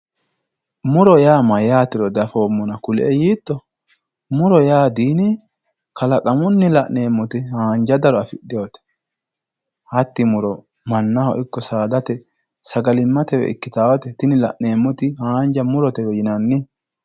muro yaa mayyaatero dafoommona kulie yiitto muro yaa di kalqamunni la'neemmote haanja daro afidhinote hatti muro mannaho ikko saadate sagali'mate ikkitaate tini la'neemmoti haanja murotewe yinanni.